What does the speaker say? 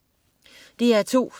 DR2: